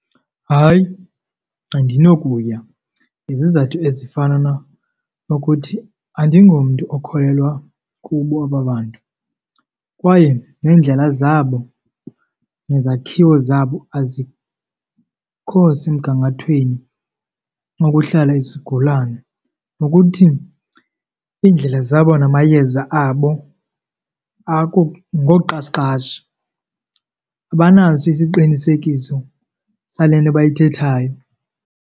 Hayi, andinokuya. Ngezizathu ezifana nokuthi andingomntu okholelwa kubo aba bantu kwaye neendlela zabo nezakhiwo zabo azikho semgangathweni onokuhlala isigulane. Nokuthi iindlela zabo namayeza abo ngoqashiqashi, abanaso isiqinisekiso sale nto bayithethayo.